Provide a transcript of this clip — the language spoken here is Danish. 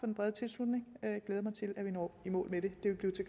den brede tilslutning og jeg glæder mig til at vi når i mål med det